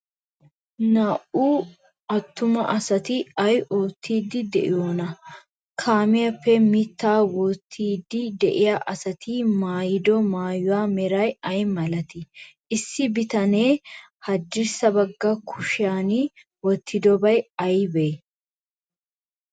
Naa''u attuma asati ay oottiiddi de'iyoonaa? Kaamiyaappe mittaa wottiiddi de'iya asati maayido maayuwa meray ay malatii? Issi bitanee haddirssa bagga kushiyan wottidobay aybee?